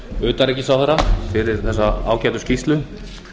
utanríkisráðherra fyrir þessa ágætu skýrslu